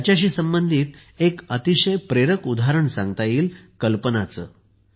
याच्याशी संबंधित एक अतिशय प्रेरक उदाहरण सांगता येईल कल्पनाचे